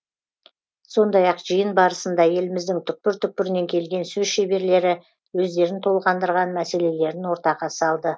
сондай ақ жиын барысында еліміздің түкпір түкпірінен келген сөз шеберлері өздерін толғандырған мәселелерін ортаға салды